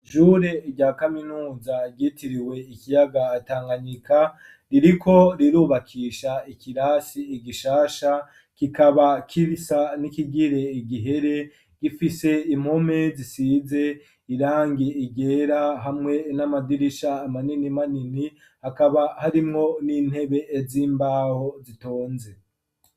Ishure rya kaminuza ryitiriwe ikiyaga tanganyika, ririko rirubakisha ikirasi igishasha kikaba kibisa n'ikigire igihere, gifise impome zisize irangi ryera, hamwe n'amadirisha manini manini, hakaba harimwo n'intebe z'imbaho zitonze.